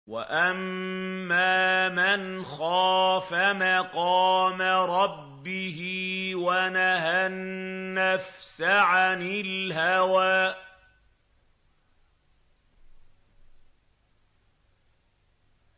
وَأَمَّا مَنْ خَافَ مَقَامَ رَبِّهِ وَنَهَى النَّفْسَ عَنِ الْهَوَىٰ